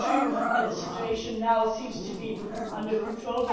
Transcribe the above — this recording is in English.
It is true that the situation now seems to be under control.